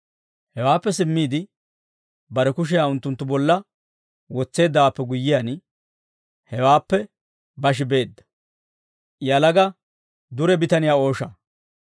Hewaappe simmiide bare kushiyaa unttunttu bolla wotseeddawaappe guyyiyaan, hewaappe bashi beedda.